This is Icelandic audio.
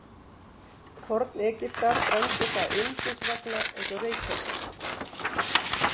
Forn-Egyptar brenndu það ilmsins vegna eins og reykelsi.